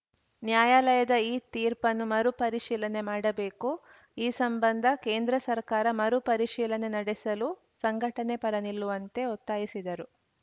ನ್ಯಾಯಾಲಯದ ಈ ತೀರ್ಪನ್ನು ಮರುಪರಿಶೀಲನೆ ಮಾಡಬೇಕು ಈ ಸಂಬಂಧ ಕೇಂದ್ರ ಸರ್ಕಾರ ಮರು ಪರಿಶೀಲನೆ ನಡೆಸಲು ಸಂಘಟನೆ ಪರ ನಿಲ್ಲುವಂತೆ ಒತ್ತಾಯಿಸಿದರು